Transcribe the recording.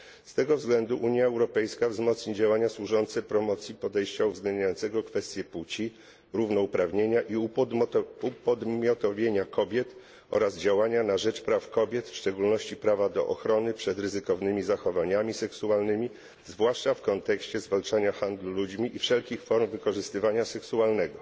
Z tego względu Unia Europejska nasili działania służące promocji podejścia uwzględniającego kwestie płci, równouprawnienia i upodmiotowienia kobiet oraz działania na rzecz praw kobiet, w szczególności prawa do ochrony przed ryzykownymi zachowaniami seksualnymi, zwłaszcza w kontekście zwalczania handlu ludźmi i wszelkich form wykorzystywania seksualnego.